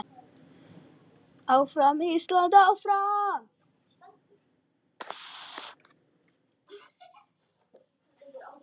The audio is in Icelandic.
Áfram Ísland, áfram.